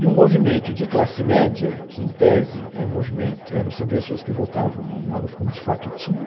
E o movimento de classe média, que, em tese, eram um movimento, eram, são pessoas que votavam no Maluf, como de fato tinha,